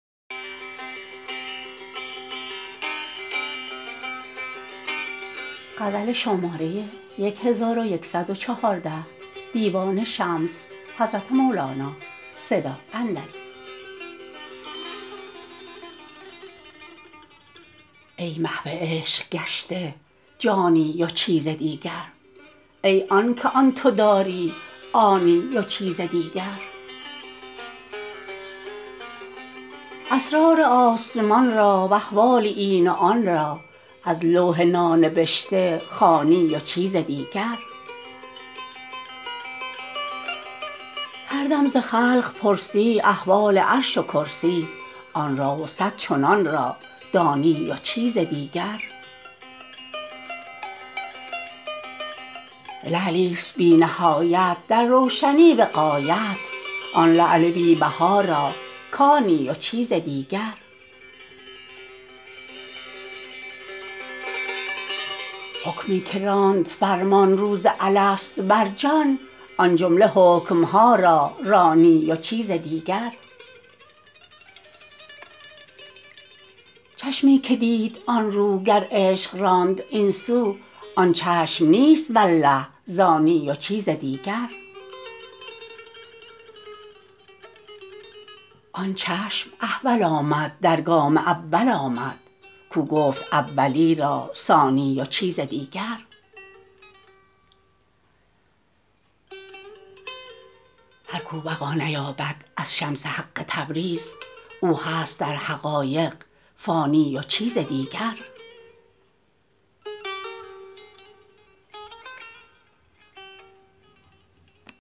ای محو عشق گشته جانی و چیز دیگر ای آنک آن تو داری آنی و چیز دیگر اسرار آسمان را و احوال این و آن را از لوح نانبشته خوانی و چیز دیگر هر دم ز خلق پرسی احوال عرش و کرسی آن را و صد چنان را دانی و چیز دیگر لعلیست بی نهایت در روشنی به غایت آن لعل بی بها را کانی و چیز دیگر حکمی که راند فرمان روز الست بر جان آن جمله حکم ها را رانی و چیز دیگر چشمی که دید آن رو گر عشق راند این سو آن چشم نیست والله زانی و چیز دیگر آن چشم احول آمد در گام اول آمد کو گفت اولی را ثانی و چیز دیگر هر کو بقا نیابد از شمس حق تبریز او هست در حقایق فانی و چیز دیگر